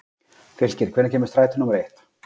Fylkir, hvenær kemur strætó númer eitt?